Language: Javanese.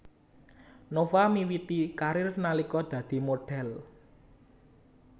Nova miwiti karir nalika dadi modhél